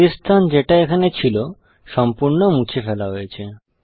খালি স্থান যেটা এখানে ছিল সম্পূর্ণ মুছে ফেলা হয়েছে